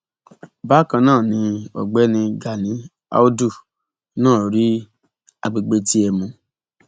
bákan náà ni ọgbẹni gani àùdù náà rí àgbègbè tiẹ mú